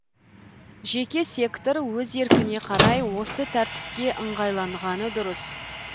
жеке сектор өз еркіне қарай осы тәртіпке ыңғайланғаны дұрыс